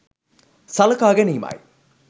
සලකා ගැනීමයි.